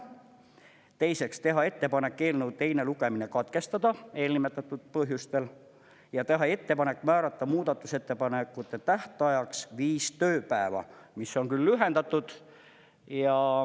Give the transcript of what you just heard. Teiseks, teha ettepanek eelnõu teine lugemine katkestada eelnimetatud põhjustel ja teha ettepanek määrata muudatusettepanekute tähtajaks viis tööpäeva, mis on küll lühendatud.